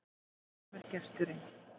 Brátt kemur gesturinn,